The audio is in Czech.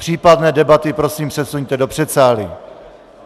Případné debaty prosím přesuňte do předsálí.